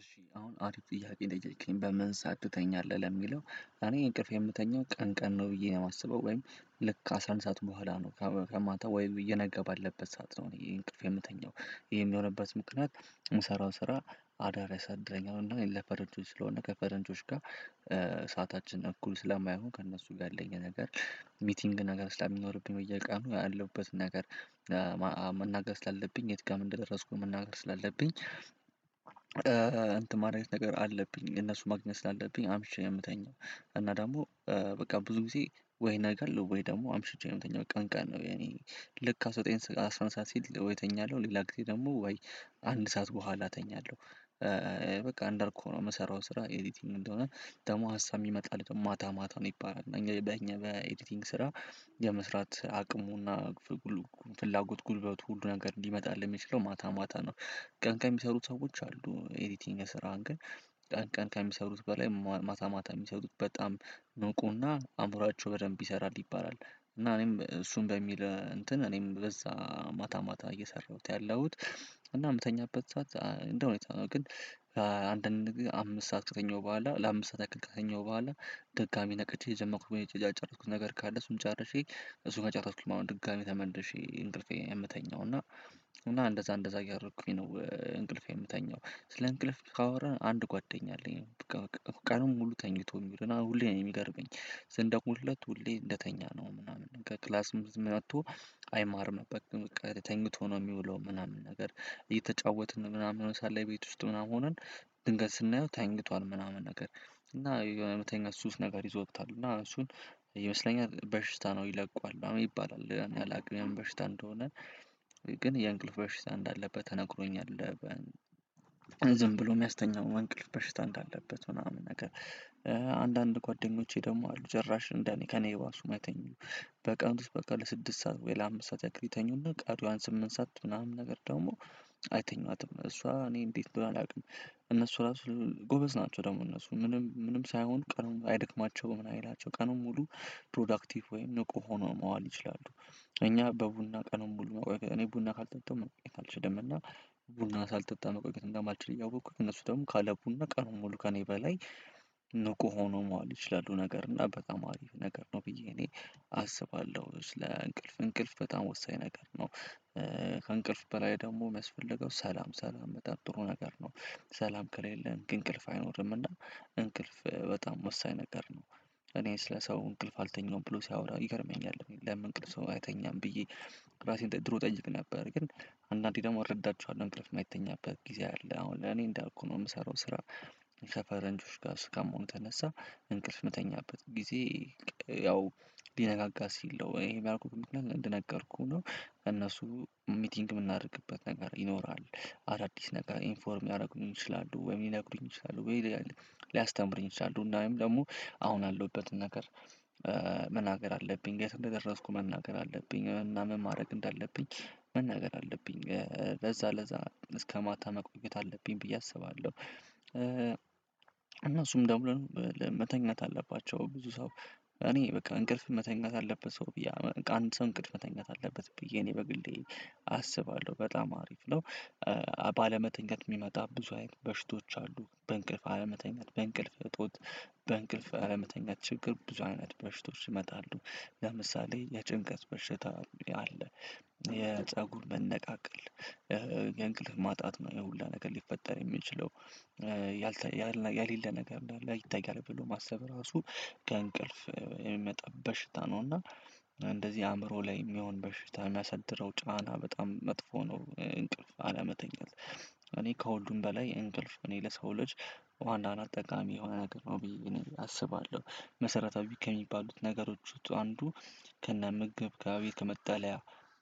እሺ አሁን አሪፍ ጥያቄ ነው የጠየከኝ በምን ሰዓት ትተኛለህ ለሚለው እኔ እንቅልፌን የምተኛው ቀን ቀን ነው ብዬ ነው የማስበው ወይም ልክ ከአስራ አንድ ሰዓት በኋላ ነው። ከማታ ወይም እየነጋ ባለበት ሰዓት ነው እኔ እንቅልፌን የምተኛው። ይሄም የሆነበት ምክንያት የምሰራው ስራ አዳር ያሳድረኛል ወይም ደሞ ለፈረንጆች ስለሆነ ከፈረንጆች ጋር ሰዓታችን እኩል ስለማይሆን ከእነሱ ጋር ያለኝ ነገር ሚቲንግ ነገር ስለሚኖርብኝ በየቀኑ ያለሁበትን ነገር። መናገር ስላለብኝ የት ጋር ምን እንደደረስኩኝ መናገር ስላለብኝ እንትን ማድረግ ነገር አለብኝ እነሱን ማግኘት ስላለብኝ አምሽቼ ነው የምተኛው። እና ደግሞ በቃ ብዙ ጊዜ ወይ ይነጋል ወይ ደግሞ አምሽቼ ነው የምተኛው ቀን ቀን ነው። እኔ ልክ አስራ አንድ ሰዓት ሲል ወይ እተኛለሁ ሌላ ጊዜ ደግሞ ወይ አንድ ሰዓት በኋላ እተኛለሁ። በቃ እንዳልኩህ ነው የምሰራው ስራ ኤዲቲንግ እንደሆነ ደግሞ ሀሳብ ሚመጣልህ ማታ ማታ ነው ይባላል። እኛ በእኛ በኤዲቲንግ ስራ የመስራት አቅሙና ፍላጎት ጉልበቱ ሁሉ ነገር ሊመጣ የሚችለው ማታ ማታ ነው። ቀን ቀን ሚሰሩት ሰዎች አሉ ኤዲቲንግ ስራራን ግን ቀን ቀን ከሚሰሩት በላይ ማታ ማታ የሚሰሩት በጣም ንቁና አዕምሯቸው በደንብ ይሰራል ይባላል። እና እኔም እሱን በሚል እንትን እኔም በዛ ማታ ማታ እየሰራሁት ያለሁት እና የምተኛበት ሰዓት እንደው ሁኔታው ነው። ግን አንድ አንድ ጊዜ አምስት ሰዓት ከተኛው በኋላ ለአምስት ሰዓት ያክል ከተኛው በኋላ ድጋሚ ነቅቼ የጀመርኩት ወይ ያልጨረስኩት ነገር ካለ እሱን ጨርሼ እሱን ከጨረስኩኝ አሁን ድጋሚ ተመልሼ እንቅልፌን የምተኛው እና እና እንደዛ እንደዛ እያደረኩኝ ነው እንቅልፌ የምተኛው። ስለ እንቅልፍ ካወራን አንድ ጓደኛ አለኝ በቃ ቀኑን ሙሉ ተኝቶ የሚዉልና ሁሌ ነው የሚገርመኝ። ስንደዉልለት ሁሌ እንደተኛ ነው ምናምን ከክላስ መልስ መጥቶ አይማርም በቃ ተኝቶ ነው የሚውለው። ምናምን ነገር እየተጫወትን ምናምን ሆኖ ሳለ ቤት ውስጥ ምናምን ሆነን ድንገት ስናየው ተኝቷል ምናምን ነገር እና የሆነ የመተኛት ሱስ ነገር ይዞታል። እና እሱን ይመስለኛል በሽታ ነው ይለቀዋል ምናምን ይባላል እኔ አላውቅም የምን በሽታ እንደሆነ። ግን የእንቅልፍ በሽታ እንዳለበት ተነግሮኛል። ዝም ብሎ የሚያስተኛው እንቅልፍ በሽታ እንዳለበት ምናምን ነገር። አንዳንድ ጓደኞቼ ደግሞ አሉ ጭራሽ እንደኔ ከእኔ የባሱ ማይተኙ። በቀን በቃ ለስድስት ሰዓት ወይ ለአምስት ሰዓት ያክል ይተኙና ቀሪዋን ስምንት ሰዓት ምናምን ነገር ደግሞ አይተኟትም። እሷ እኔ እንዴት አንደሆነ አላውቅም እነሱ ራሱ ጎበዝ ናቸው። ደግሞ እነሱ ምንም ምንም ሳይሆን ቀኑን ሙሉ አይደክማቸውም ምን አይላቸው ቀኑን ሙሉ ፕሮዳክቲቭ ወይም ንቁ ሆኖ መዋል ይችላሉ። እኛ በቡና ቀኑን ሙሉ መቆየት እኔ ቡና ካልጠጣሁ መቆየት አልችልም እና። ቡና ሳልጠጣ መቆየት እንደማልችል እያወኩኝ እነሱ ደግሞ ካለ ቡና ቀኑን ሙሉ ከእኔ በላይ ንቁ ሆነው መዋል ይችላሉ። ነገር እና በጣም አሪፍ ነገር ነው ብዬ እኔ አስባለሁ ስለእንቅልፍ እንቅልፍ በጣም ወሳኝ ነገር ነው። ከእንቅልፍ በላይ ደግሞ የሚያስፈልገው ሰላም ሰላም በጣም ጥሩ ነገር ነው። ሰላም ከሌለን ግን እንቅልፍ አይኖርምና። እንቅልፍ በጣም ወሳኝ ነገር ነው። እኔን ስለ ሰው እንቅልፍ አልተኛሁም ብሎ ሲያወራ ይገርመኛል ለምን እንቅልፍ ሰው አይተኛም ብዬ? ራሴን ድሮ ጠይቅ ነበር ግን። አንዳንዴ ደግሞ እረዳቸዋለሁ እንቅልፍ የማይተኛበት ጊዜ አለ አሁን ለኔ እንዳልኩህ ነው የምሰራው ስራ። ከፈረንጆች ጋር እስከመሆኑ የተነሳ እንቅልፍ ምተኛበት ጊዜ። ያው ሊነጋጋ ሲል ነው ይሄ ያልኩክ ምክንያት እንደነገርኩህ ነው። እነሱ ሚቲንግ የምናደርግበት ነገር ይኖራል። አዳዲስ ነገር ኢንፎርም ሊያደረጉኝ ይችላሉ ወይም ሊነግሩኝ ይችላሉ ወይ ሊያስተምሩኝ ይችላሉ እንዲያውም ደግሞ አሁን አለሁበትን ነገር። መናገር አለብኝ የት እንደደረስኩ መናገር አለብኝ እና ምን ማድረግ እንዳለብኝ መናገር አለብኝ። ለዛ ለዛ እስከ ማታ መቆየት አለብኝ ብዬ አስባለሁ። እነሱም ደግሞ መተኛት አለባቸው ብዙ ሰው። እኔ በቃ እንቅልፍ መተኛት አለበት ሰው ብዬ አንድ ሰው እንቅልፍ መተኛት አለበት ብዬ እኔ በግሌ አስባለሁ በጣም አሪፍ ነው። ባለመተኛት የሚመጣ ብዙ አይነት በሽቶች አሉ በእንቅልፍ አለመተኛት በእንቅልፍ እጦት። በእንቅልፍ አለመተኛት ችግር ብዙ አይነት በሽታዎች ይመጣሉ። ለምሳሌ የጭንቀት በሽታ አለ። የፀጉር መነቃቀል የእንቅልፍ ማጣት ነው የሁላ ነገር ሊፈጠር የሚችለው። ያልተለ ያሌለ ነገር እንዳለ ይታያል ብሎ ማሰብ ራሱ። ከእንቅልፍ የሚመጣ በሽታ ነው እና። እንደዚህ አእምሮ ላይ የሚሆን በሽታ የሚያሳድረው ጫና በጣም መጥፎ ነው እንቅልፍ አላመተኛት። እኔ ከሁሉም በላይ እንቅልፍ እኔ ለሰው ልጅ አለ አደል ጠቃሚ የሆነ ነገር ነው ብዬ አስባለሁ። መሰረታዊ ከሚባሉት ነገሮች ውስጥ አንዱ። ከነምግብ ከቤት ከመጠለያ